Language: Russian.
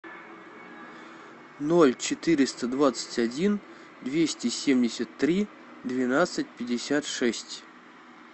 ноль четыреста двадцать один двести семьдесят три двенадцать пятьдесят шесть